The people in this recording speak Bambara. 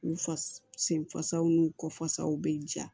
U fa sen fasaw n'u kɔfasaw bɛ ja